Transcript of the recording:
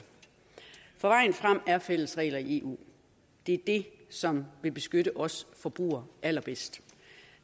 for vejen frem er fælles regler i eu det er det som vil beskytte os forbrugere allerbedst